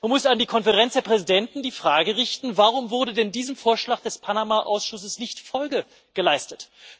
Man muss an die Konferenz der Präsidenten die Frage richten Warum wurde denn diesem Vorschlag des Panama Ausschusses nicht Folge geleistet?